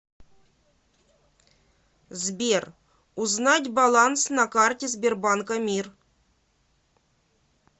сбер узнать баланс на карте сбербанка мир